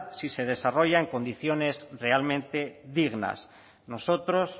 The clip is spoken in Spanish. si se desarrolla en condiciones realmente dignas nosotros